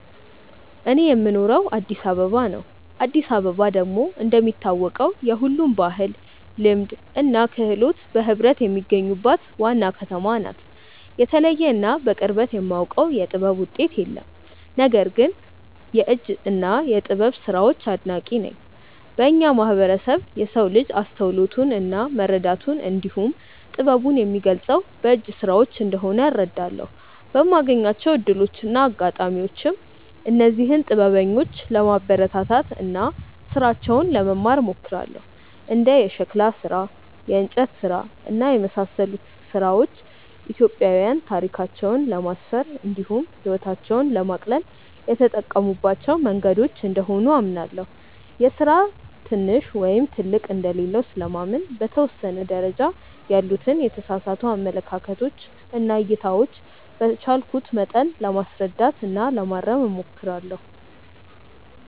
እኔ የምኖረው አዲስ አበባ ነው። አዲስ አበባ ደግሞ እንደሚታወቀው የሁሉም ባህል፣ ልማድ እና ክህሎት በህብረት የሚገኙባት ዋና ከተማ ናት። የተለየ እና በቅርበት የማውቀው የጥበብ ውጤት የለም። ነገር ግን የእጅ እና የጥበብ ስራዎች አድናቂ ነኝ። በእኛ ማህበረሰብ የሰው ልጅ አስተውሎቱን እና መረዳቱን እንዲሁም ጥበቡን የሚገልፀው በእጅ ስራዎች እንደሆነ እረዳለሁ። በማገኛቸው እድሎች እና አጋጣሚዎችም እነዚህን ጥበበኞች ለማበረታታት እና ስራቸውን ለመማር እሞክራለሁ። እንደ የሸክላ ስራ፣ የእንጨት ስራ እና የመሳሰሉት ስራዎች ኢትዮጵያዊያን ታሪካቸውን ለማስፈር እንዲሁም ህይወታቸውን ለማቅለል የተጠቀሙባቸው መንገዶች እንደሆኑ አምናለሁ። የስራ ትንሽ ወይም ትልቅ እንደሌለው ስለማምን በተወሰነ ደረጃ ያሉትን የተሳሳቱ አመለካከቶች እና እይታዎች በቻልኩት መጠን ለማስረዳት እና ለማረም እሞክራለሁ።